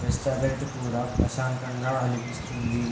Restaurant కూడా ప్రశాంతం గ అనిపిస్తుంది .